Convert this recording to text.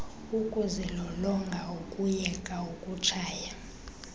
ukuzilolonga ukuyeka ukutshaya